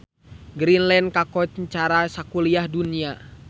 Greenland kakoncara sakuliah dunya